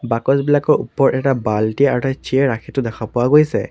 বাকচবিলাকৰ ওপৰত এটা বাল্টি আৰু এটা চিয়াৰ ৰাখি থোৱা দেখা পোৱা গৈছে।